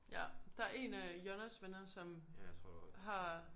Ja der en af Jonnas venner som har